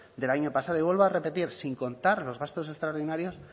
del año pasado y vuelve a repetir sin contar los gastos extraordinarios